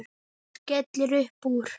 Hún skellir upp úr.